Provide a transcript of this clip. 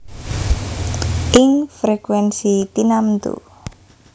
Ing frekuènsi tinamtu